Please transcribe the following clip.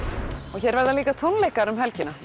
og hér verða líka tónleikar um helgina